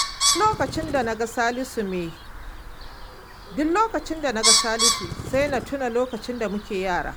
Duk lokacin da na ga Salisu sai na tuna lokacin da muke yara